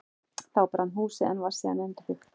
Þá brann húsið, en var síðan endurbyggt.